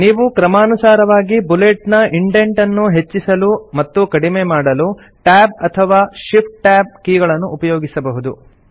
ನೀವು ಕ್ರಮಾನುಸಾರವಾಗಿ ಬುಲೆಟ್ ನ ಇಂಡೆಂಟ್ ಅನ್ನು ಹೆಚ್ಚಿಸಲು ಮತ್ತು ಕಡಿಮೆ ಮಾಡಲು ಟ್ಯಾಬ್ ಅಥವಾ ಶಿಫ್ಟ್ ಟ್ಯಾಬ್ ಕೀಗಳನ್ನು ಉಪಯೋಗಿಸಬಹುದು